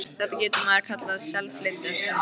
Þetta getur maður kallað að SELflytja, stundi Kobbi.